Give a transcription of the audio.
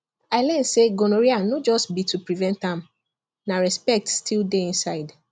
i learn say gonorrhea no just be to prevent am na respect still dey inside